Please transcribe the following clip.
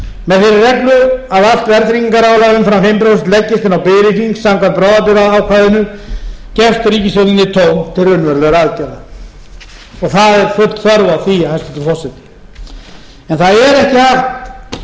með þeirri reglu að allt verðtryggingarálag umfram fimm prósent leggist inn á biðreikning samkvæmt bráðabirgðaákvæðinu gefst ríkisstjórninni tóm til raunverulegra aðgerða og það er full þörf á því hæstvirtur forseti en það er ekki hægt fyrir fólkið í landinu að